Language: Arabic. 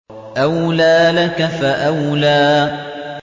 أَوْلَىٰ لَكَ فَأَوْلَىٰ